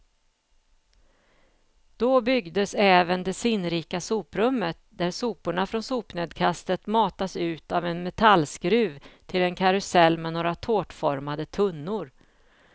Då byggdes även det sinnrika soprummet, där soporna från sopnedkastet matas ut av en metallskruv till en karusell med några tårtformade tunnor.